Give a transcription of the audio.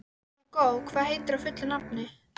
Hugó, hvað heitir þú fullu nafni?